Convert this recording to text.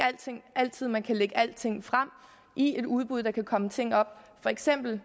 altid at man kan lægge alting frem i et udbud der kan komme ting op for eksempel